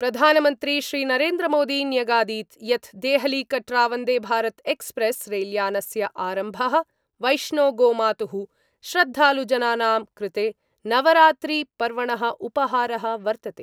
प्रधानमन्त्री श्रीनरेन्द्रमोदी न्यगादीत् यत् देहलीकटरावंदेभारतएक्सप्रैस् रैल्यानस्य आरम्भ: वैष्णो गोमातुः श्रद्धालुजनानां कृते नवरात्रिपर्वणः उपहारः वर्तते।